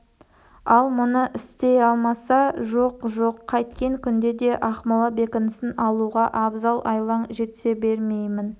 ал мұны істей алмаса жоқ жоқ қайткен күнде де ақмола бекінісін алу абзал айлаң жетсе бермеймін